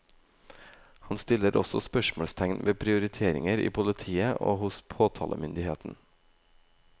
Han stiller også spørsmålstegn ved prioriteringer i politiet og hos påtalemyndigheten.